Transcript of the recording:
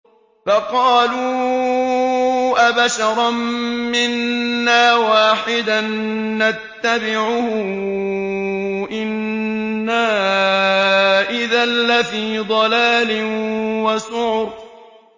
فَقَالُوا أَبَشَرًا مِّنَّا وَاحِدًا نَّتَّبِعُهُ إِنَّا إِذًا لَّفِي ضَلَالٍ وَسُعُرٍ